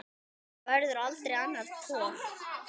Það verður aldrei annar Thor.